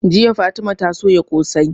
Jiya fatima ta soya ƙosai